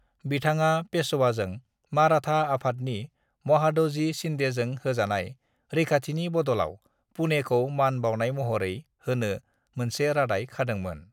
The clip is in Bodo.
बिथाङा पेशवाजों माराठा आफादनि महादजी शिन्देजों होजानाय रैखाथिनि बदलाव पुणेखौ मान बावनाय महरै होनो मोनसे रादाय खादोंमोन।